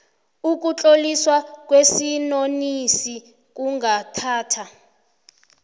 ukutloliswa kwesinonisi kungathatha